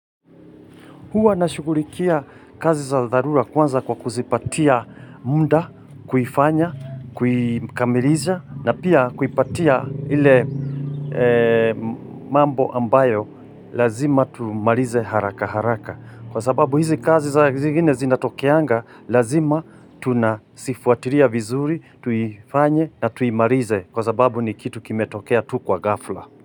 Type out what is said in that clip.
Huwa nashughulikia kazi za dharura kwanza kwa kuzipatia muda, kuifanya, kuikamilisha na pia kuipatia ile mambo ambayo lazima tumarize haraka haraka. Kwa sababu hizi kazi za zingine zinatokeanga lazima tunazifuatiria vizuri, tuifanye na tuimarize kwa sababu ni kitu kimetokea tu kwa ghafla.